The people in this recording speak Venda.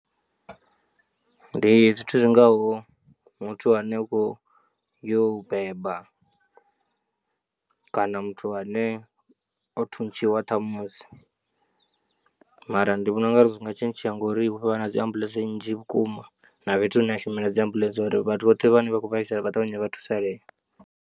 Ndi zwithu zwingaho muthu ane u khou yo u beba kana muthu ane o thuntshiwa ṱhamusi, mara ndi vhona ungari zwi nga tshintshea ngori hu khou vha na dzi ambuḽentse nnzhi vhukuma na fhethu hune ha shumela dzi ambuḽentse uri vhathu vhoṱhe vhane vha kho vhaisala vha ṱavhanye vha thusalee.